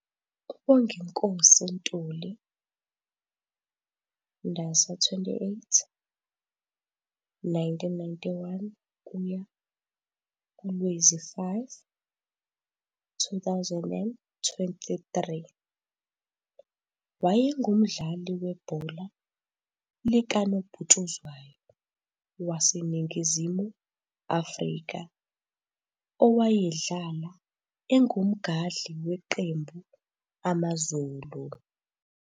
U-Bonginkosi Ntuli, Ndasa 28, 1991 - Lwezi 5, 2023, wayengumdlali webhola likanobhutshuzwayo wase Ningizimu afrika owayedlala engu mgadli weqembu -AmaZulu.